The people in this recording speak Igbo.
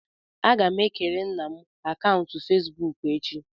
Agam ekere nna m akaụntụ Fezbuuku echi.